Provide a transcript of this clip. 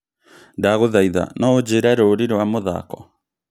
Ndagũthaitha no ũnjĩĩre rũũri rwa mũthako